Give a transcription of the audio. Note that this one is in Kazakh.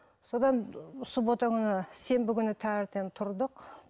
содан суббота күні сенбі күні таңертең тұрдық